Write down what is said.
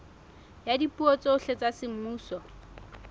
ya dipuo tsohle tsa semmuso